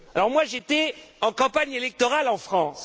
Moi, j'étais en campagne électorale en France.